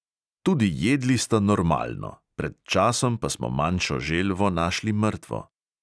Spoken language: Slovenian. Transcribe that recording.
Tudi jedli sta normalno, pred časom pa smo manjšo želvo našli mrtvo.